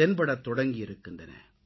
தென்படத்தொடங்கியிருக்கின்றன